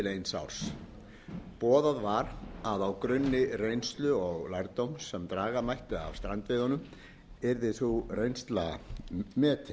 árs boðað var að á grunni reynslu og lærdóms sem draga mætti af strandveiðunum yrði sú reynsla metin